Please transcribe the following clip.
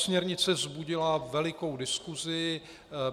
Směrnice vzbudila velikou diskusi.